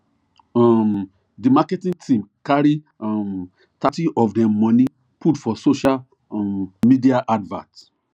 um di marketing team carry um thirty of dem money put for social um media advert